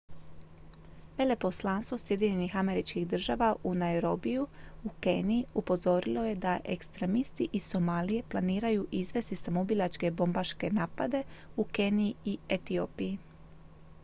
"veleposlanstvo sjedinjenih američkih država u nairobiju u keniji upozorilo je da "ekstremisti iz somalije" planiraju izvesti samoubilačke bobmbaške napade u keniji i etiopiji.